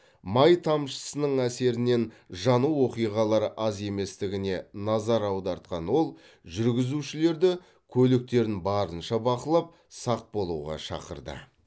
май тамшысының әсерінен жану оқиғалары аз еместігіне назар аудартқан ол жүргізушілерді көліктерін барынша бақылап сақ болуға шақырды